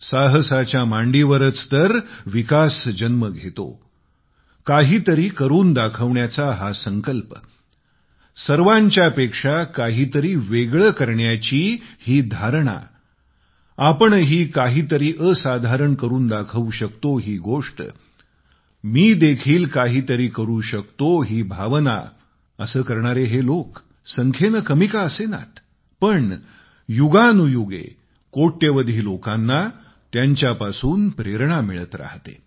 साहसाच्या मांडीवरच तर विकास जन्म घेतो काहीतरी करून दाखवण्याचा हा संकल्प सर्वांच्या पेक्षा काहीतरी वेगळे करण्याची ही धारणा आपणही काहीतरी असाधारण करून दाखवू शकतो ही गोष्ट मी देखील काहीतरी करु शकतो ही भावना असे करणारे हे लोक संख्येने कमी का असेनात पण युगानुयुगे कोट्यवधी लोकांना त्यांच्यापासून प्रेरणा मिळत राहते